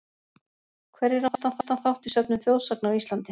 Hverjir áttu mestan þátt í söfnun þjóðsagna á Íslandi?